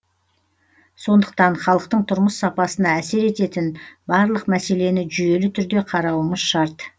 сондықтан халықтың тұрмыс сапасына әсер ететін барлық мәселені жүйелі түрде қарауымыз шарт